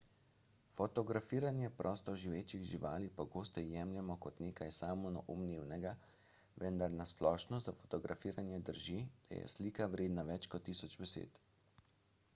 fotografiranje prostoživečih živali pogosto jemljemo kot nekaj samoumevnega vendar na splošno za fotografiranje drži da je slika vredna več kot tisoč besed